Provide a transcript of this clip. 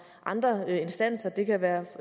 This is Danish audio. andre instanser det kan være